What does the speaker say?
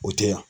O tɛ yan